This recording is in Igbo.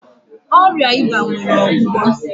Ọrịa eba nwere ọgwụgwọ.